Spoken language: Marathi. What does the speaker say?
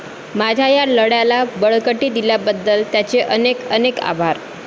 माझ्या या लढ्याला बळकटी दिल्याबद्दल त्यांचे अनेक अनेक आभार